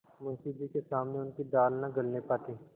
मुंशी जी के सामने उनकी दाल न गलने पाती